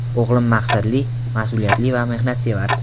O‘g‘lim maqsadli, mas’uliyatli va mehnatsevar.